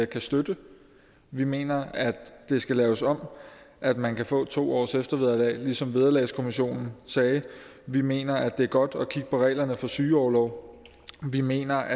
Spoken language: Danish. kan støtte vi mener at det skal laves om at man kan få to års eftervederlag ligesom vederlagskommissionen sagde vi mener at det er godt at kigge på reglerne for sygeorlov vi mener